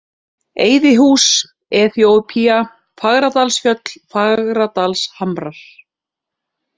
Eyðihús, Eþíópía, Fagradalsfjöll, Fagradalshamrar